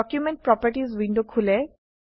document properties window খোলে